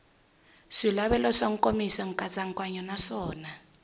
swilaveko swa nkomiso nkatsakanyo naswona